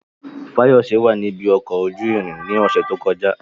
Fayose wà ní ibi ọkọ̀ ojú irin ní ọ̀sẹ̀ tó kọjá.